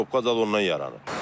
Probka zad ondan yaranır.